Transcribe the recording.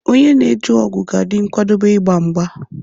Onye na-eje ọgụ ga-adị nkwadebe igba mgba.